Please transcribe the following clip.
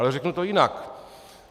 Ale řeknu to jinak.